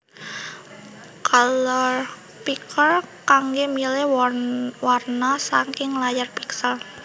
Color Picker kanggé milih warna saking layar piksel